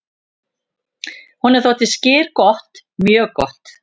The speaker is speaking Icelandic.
"""Honum þótti skyr gott, mjög gott."""